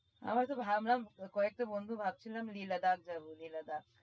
আমরা তো ভাবলাম কয়েকটা বন্ধু মিলে ভাবছিলাম Leh Ladakh যাবো Leh ladakh